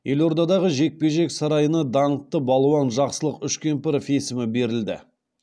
елордадағы жекпе жек сараи ына даңқты балуан жақсылық үшкемпіров есімі берілді